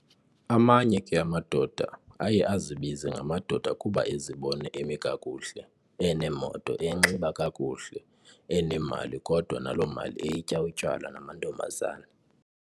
Amanye ke amadoda aye azibize ngamadoda kuba ezibona emikakuhle eneemoto, enxiba kakuhle, enemali kodwa nalo mali eyitya utywala namantombazana.